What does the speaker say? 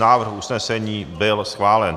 Návrh usnesení byl schválen.